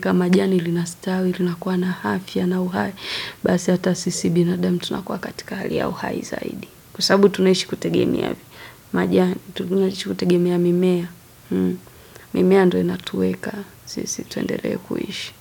Kama jani linastawi, linakuwa na afya ya uhai. Basi hata sisi binadamu tunakuwa katika hali ya uhai zaidi. Kwa sababu tunaishi kutegemea majani. Tunaishi kutegemea mimea. Mimea ndo inatuweka sisi tuendelee kuishi.